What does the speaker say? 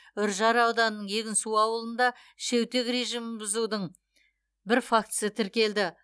үржар ауданының егінсу ауылында шеутек режимін бұзудың бір фактісі тіркелді